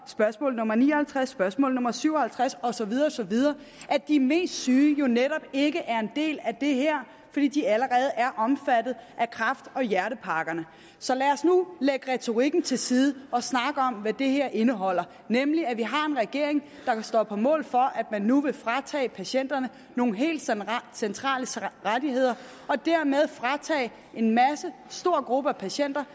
spørgsmål nummer ni og halvtreds spørgsmål nummer syv og halvtreds og så videre og så videre at de mest syge jo netop ikke er en del af det her fordi de allerede er omfattet af kræft og hjertepakkerne så lad os nu lægge retorikken til side og snakke om hvad det her indeholder det nemlig at vi har en regering der står på mål for at man nu vil fratage patienterne nogle helt centrale rettigheder og dermed fratage en stor gruppe patienter